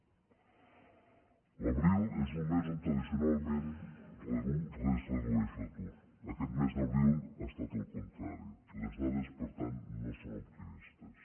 l’abril és un mes on tradicionalment es redueix l’atur aquest mes d’abril ha estat el contrari les dades per tant no són optimistes